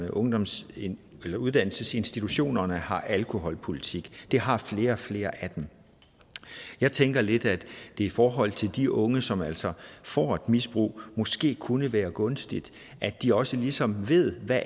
at ungdomsuddannelsesinstitutionerne har en alkoholpolitik det har flere og flere af dem jeg tænker lidt at det i forhold til de unge som altså får et misbrug måske kunne være gunstigt at de også ligesom ved hvad